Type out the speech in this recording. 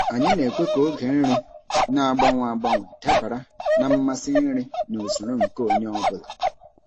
Anyị na-ekwe ka oge nri na-agbanwe agbanwe dabara na mmasị nri na usoro nke onye ọ bụla.